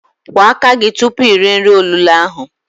Kwọ aka gi tupu ire nri olulo ahụ!